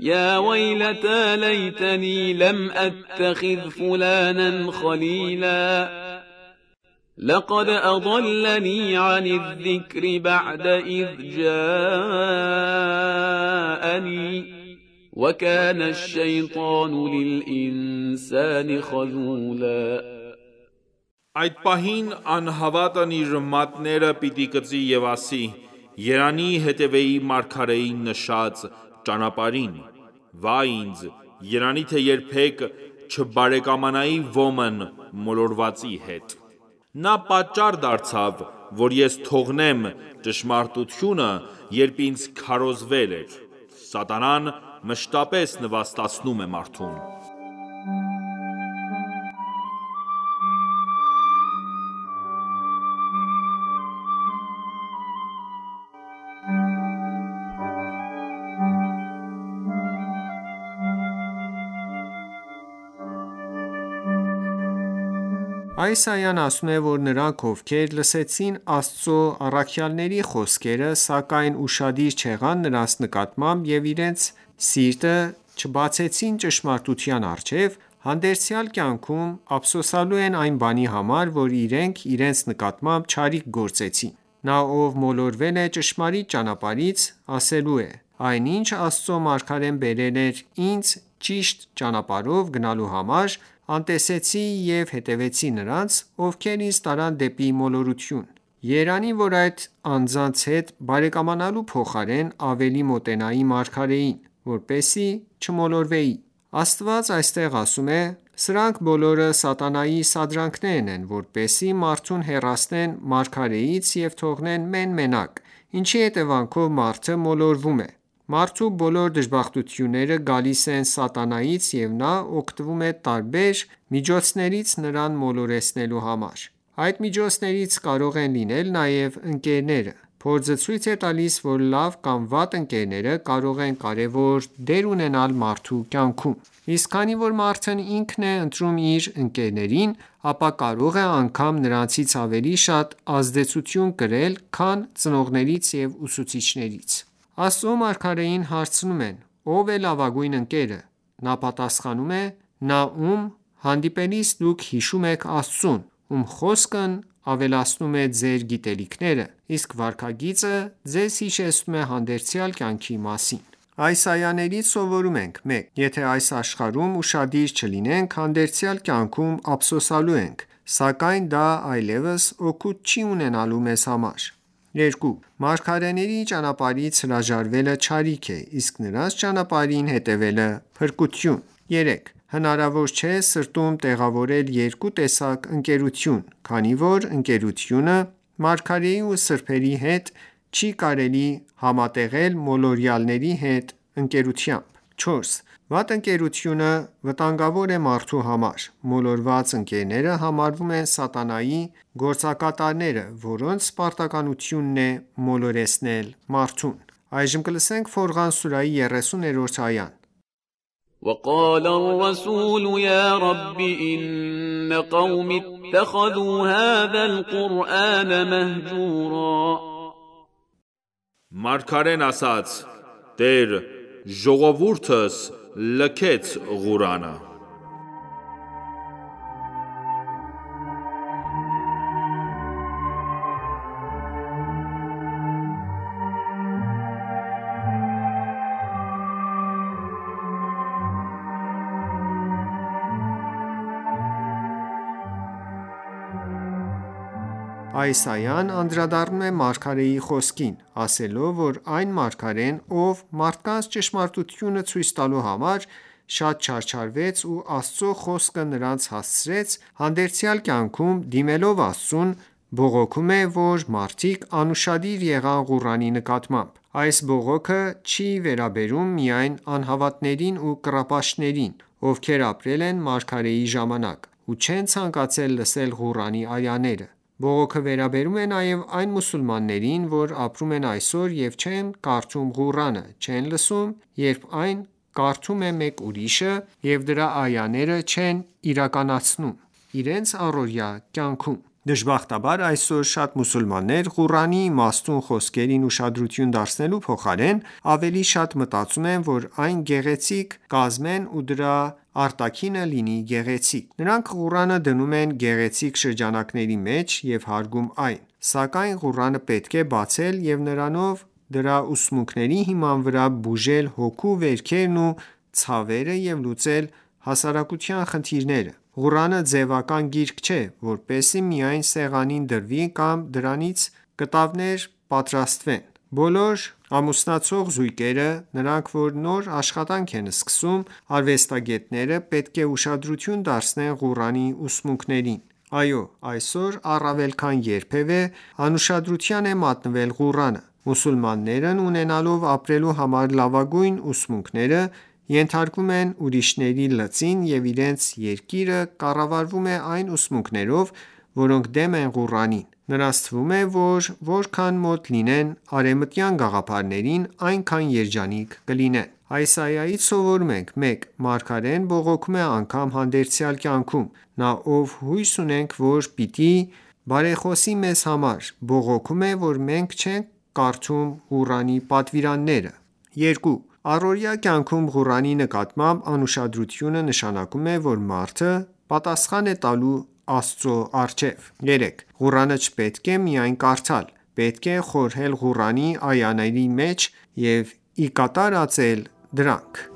یَا وَیْلَتَى لَیْتَنِی لَمْ أَتَّخِذْ فُلَانًا خَلِیلًا لَقَدْ أَضَلَّنِی عَنِ الذِّکْرِ بَعْدَ إِذْ جَاءنِی وَکَانَ الشَّیْطَانُ لِلْإِنسَانِ خَذُولًا Այդ պահին անհավատն իր մատները պիտի կծի և ասի. երանի հետևեի մարգարեի նշած ճանպարհին: Վայ ինձ, երանի թե երբեք չբարեկամանայի ոմն (մոլորվածի) հետ: «Նա պատճառ դարձավ, որ ես թողնեմ (ճշմարտությունը), երբ ինձ քարոզվել էր»: Սատանան մշտապես նվաստացնում է մարդուն: Այս այան ասում է, որ նրանք, ովքեր լսեցին Աստծո առաքյալների խոսքերը, սակայն ուշադիր չեղան դրանց նկատմամբ և իրենց սիրտը չբացեցին ճշմարտության առջև, հանդերձյալ կյանքում ափսոսելու են այն բանի համար, որ իրենք իրենց նկատմամբ չարիք գործեցին: Նա, ով մոլորվել է ճշմարիտ ճանապարհից, ասելու է. «Այն, ինչ Աստծո մարգարեն բերել էր ինձ՝ ճիշտ ճանապարհով գնալու համար, անտեսեցի և հետևեցի նրանց, ովքեր ինձ տարան դեպի մոլորություն: Երանի, որ այդ անձանց հետ բարեկամանալու փոխարեն, ավելի մոտենայի մարգարեին, որպեսզի չմոլորվեի»: Աստված այստեղ ասում է. «Սրանք բոլորը սատանայի սադրանքներն են, որպեսզի մարդուն հեռացնեն մարգարեից ու թողնեն մեն-մենակ, ինչի հետևանքով մարդը մոլորվում է: Մարդու բոլոր դժբախտությունները գալիս են սատանայից և նա օգտվում է տարբեր միջոցներից՝ նրան մոլորեցնելու համար: Այդ միջոցներից կարող են լինել նաև ընկերները: Փորձը ցույց է տալիս, որ լավ կամ վատ ընկերները կարող են կարևոր դեր ունենալ մարդու կյանքում: Իսկ քանի որ մարդն ինքն է ընտրում իր ընկերներին, ապա կարող է անգամ նրանցից ավելի շատ ազդեցություն կրել, քան ծնողներից և ուսուցիչներից»: Աստծո մարգարեին հարցնում են. «Ո՞վ է լավագույն ընկերը»: Նա պատախանում է. «Նա, ում հանդիպելիս դուք հիշում եք Աստծուն, ում խոսքն ավելացնում է ձեր գիտելիքները, իսկ վարքագիծը ձեզ հիշեցնում է հանդերձյալ կյանքի մասին»: Այս այաներից սովորում ենք. 1. Եթե այս աշխարհում ուշադիր չլինենք, հանդերձյալ կյանքում ափսոսելու ենք, սակայն դա այլևս օգուտ չի ունենալու մեզ համար: 2. Մարգարեների ճանապարհից հրաժարվելը չարիք է, իսկ նրանց ճանապարհին հետևելը՝ փրկություն: 3. Հնարավոր չէ սրտում տեղավորել երկու տեսակ ընկերություն, քանի որ ընկերությունը մարգարեի ու սրբերի հետ, չի կարելի համատեղել մոլորյալների հետ ընկերությամբ: 4. Վատ ընկերությունը վտանգավոր է մարդու համար: Մոլորված ընկերները համարվում են սատանայի գործակատարները, որոնց պարտականությունն է մոլորեցնել մարդուն: Ֆորղան սուրահի 30-րդ այա وَقَالَ الرَّسُولُ یَا رَبِّ إِنَّ قَوْمِی اتَّخَذُوا هَذَا الْقُرْآنَ مَهْجُورًا Մարգարեն ասաց. «Տեր, ժողովուրդս լքեց Ղուրանը»: Այս այան անդրադառնում է մարգարեի խոսքին, ասելով, որ այն մարգարեն, ով մարդկանց ճշմարտությունը ցույց տալու համար շատ չարչարվեց ու Աստծո խոսքը նրանց հասցրեց, հանդերձյալ կյանքում, դիմելով Աստծուն, բողոքում է, որ մարդիկ անուշադիր եղան Ղուրանի նկատմամբ: Այս բողոքը չի վերաբերում միայն անհավատներին ու կռապաշտներին, ովքեր ապրել են մարգարեի ժամանակ ու չեն ցանկացել լսել Ղուրանի այաները: Բողոքը վերաբերում է նաև այն մուսուլմաններին, որ ապրում են այսօր և չեն կարդում Ղուրանը, չեն լսում, երբ այն կարդում է մեկ ուրիշը և դրա այաները չեն իրականացնում իրենց առօրյա կյանքում: Դժբախտաբար, այսօր, շատ մուսուլմաններ, Ղուրանի իմաստուն խոսքերին ուշադրություն դարձնելու փոխարեն, ավելի շատ մտածում են, որ այն գեղեցիկ կազմեն ու դրա արտաքինը լինի գեղեցիկ: Նրանք Ղուրանը դնում են գեղեցիկ շրջանակների մեջ ու հարգում այն: Սակայն Ղուրանը պետք է բացել և նրանով դրա ուսմունքների հիման վրա բուժել հոգու վերքերն ու ցավերը և լուծել հասարակության խնդիրները: Ղուրանը ձևական գիրք չէ, որպեսզի միայն սեղանին դրվի կամ դրանից կտավներ պատրաստվեն: Բոլոր ամուսնացող զույգերը, նրանք, որ նոր աշխատանք են սկսում, արվեստագետները, պետք է ուշադրություն դարձնեն Ղուրանի ուսմունքներին: Այո, այսօր առավել քան երբևէ անուշադրության է մատնվել Ղուրանը։ Մուսուլմաններն ունենալով ապրելու համար լավագույն ուսմունքները, ենթարկվում են ուրիշների լծին և իրենց երկիրը կառավարվում է այն ուսմունքներով, որոնք դեմ են Ղուրանին: Նրանց թվում է, որ որքան մոտ լինեն արևմտյան գաղափարներին, այնքան երջանիկ կլինեն: Այս այայից սովորում ենք. 1. Մարգարեն բողոքում է անգամ հանդերձյալ կյանքում: Նա, ով հույս ունենք, որ պիտի բարեխոսի մեզ համար, բողոքում է, որ մենք չենք կատարում Ղուրանի պատվիրանները: 2. Առօրյա կյանքում Ղուրանի նկատմամբ անուշադրությունը նշանակում է, որ մարդը պատասխան է տալու Աստծո առջև: 3. Ղուրանը չպետք է միայն կարդալ: Պետք է խորհել Ղուրանի այաների շուրջ և ի կատար ածել դրանք: